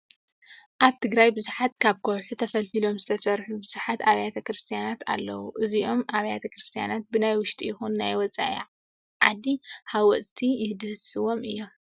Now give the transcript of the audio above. ኣብ ትግራይ ብዙሓት ካብ ከውሒ ተፈልፊሎም ዝተሰርሑ ብዙሓት ኣብያተ ክርስቲያን ኣለውዋ። እዞም ኣብያተ ክርስቲያን ብናይ ውሽጢ ይኹን ናይ ወፃኢ ዓዲ ሃወፅቲ ይድህሰሱ እዮም።